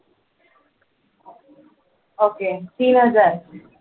okay तीन हजार